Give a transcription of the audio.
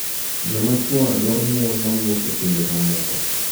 Joma chwo dwaro mon ma wuok e pinje mamoko